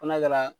Fɔ n'a kɛra